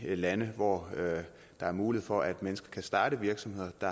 i de lande hvor der er mulighed for at mennesker kan starte virksomheder at